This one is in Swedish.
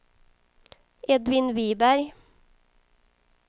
Edvin Viberg